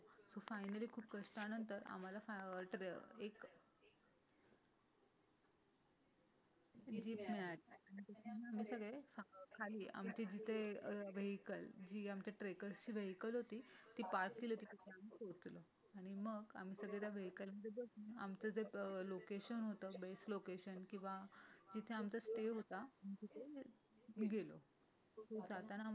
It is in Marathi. आमचं जे लोकेशन होतं बस लोकेशन किंवा जिथे आमचा स्टे होता तिथे गेलो तो जाताना.